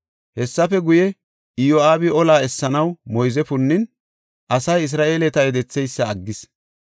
Hessafe guye, Iyo7aabi olaa essanaw moyze punnin asay Isra7eeleta yedetheysa aggis.